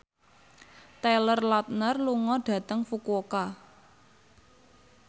Taylor Lautner lunga dhateng Fukuoka